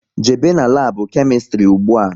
Jebe n'labu Kemistri ụgbụa!